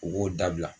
U b'o dabila